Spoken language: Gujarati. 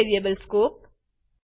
વિવિધ વેરિયેબલ સ્કોપ